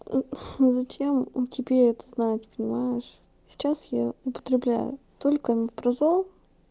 ээ зачем тебе это знать понимаешь сейчас я употребляю только омепразол